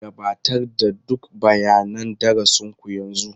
Gabatar da duk bayanan darasin ku yanzu.